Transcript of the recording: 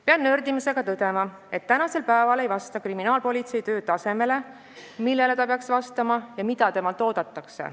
Pean nördimusega tõdema, et tänasel päeval ei vasta kriminaalpolitsei töö tasemele, millele ta peaks vastama ja mida temalt oodatakse.